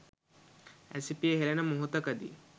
ඇසිපිය හෙලන මොහොතකදී